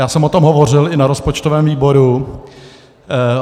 Já jsem o tom hovořil i na rozpočtovém výboru.